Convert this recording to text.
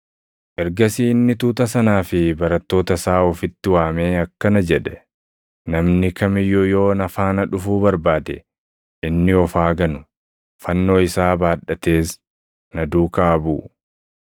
Ergasii inni tuuta sanaa fi barattoota isaa ofitti waamee akkana jedhe; “Namni kam iyyuu yoo na faana dhufuu barbaade, inni of haa ganu; fannoo isaa baadhatees na duukaa haa buʼu.